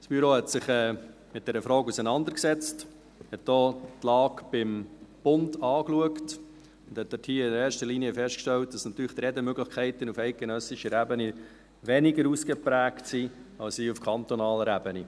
Das Büro hat sich mit dieser Frage auseinandergesetzt, hat auch die Lage beim Bund angeschaut und dabei in erster Linie festgestellt, dass die Redemöglichkeiten auf eidgenössischer Ebene natürlich weniger ausgeprägt sind als hier auf kantonaler Ebene.